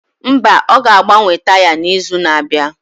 Mba, ọ ga-agbanwe taya n'izu na-abịa.